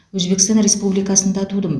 өзбекстан республикасында тудым